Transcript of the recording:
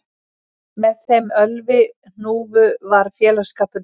Með þeim Ölvi hnúfu var félagsskapur mikill